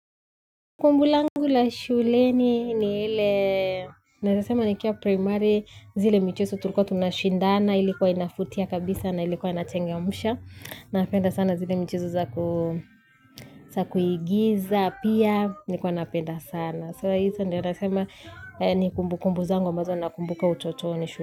Kumbu langu la shule ni ile, naezasema nikiwa primari zile michezo tulikuwa tunashindana, ilikuwa inavutia kabisa na ilikuwa inachangamsha. Napenda sana zile mchezo za kuigiza, pia nilikuwa napenda sana. Sahizi ndio nasema ni kumbu kumbu zangu mbazo nakumbuka utotoni shule.